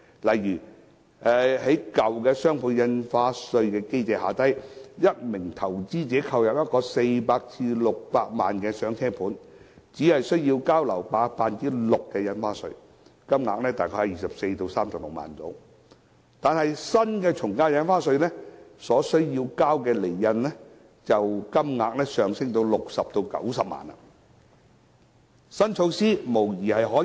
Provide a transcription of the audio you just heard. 例如，在舊有的雙倍印花稅機制下，一名投資者購入一個400萬元至600萬元的"上車盤"，只須繳交樓價 6% 的印花稅，金額大概是24萬元至36萬元，但根據新的從價印花稅，所須繳交的印花稅金額便會上升至60萬元至90萬元。